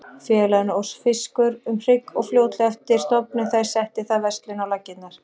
Félaginu óx fiskur um hrygg og fljótlega eftir stofnun þess setti það verslun á laggirnar.